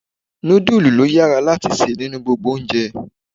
Nudulu lo yára láti se nínú gbogbo oúnjẹ.